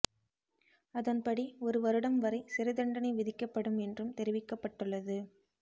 அதன்படி ஒரு வருடம் வரை சிறை தண்டனை விதிக்கப்படும் என்றும் தெரிவிக்கப்பட்டுள்ளது